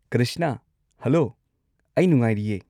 Krishna, hello. ꯑꯩ ꯅꯨꯡꯉꯥꯏꯔꯤꯌꯦ꯫